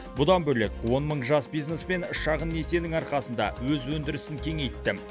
бұдан бөлек он мың жас бизнесмен шағын несиенің арқасында өз өндірісін кеңейтті